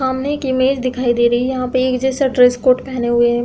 सामने एक इमेज दिखाई दे रही है। यहाँ पे एक जैसा ड्रेस कोड पहने हुए है।